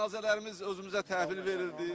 Cənazələrimiz özümüzə təhvil verildi.